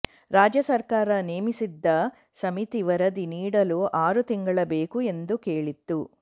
ರಾಜ್ಯ ಸರ್ಕಾರ ನೇಮಿಸಿದ್ಧ ಸಮಿತಿ ವರದಿ ನೀಡಲು ಆರು ತಿಂಗಳು ಬೇಕು ಎಂದು ಕೇಳಿತ್ತು